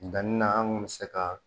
Danni na an kun bɛ se ka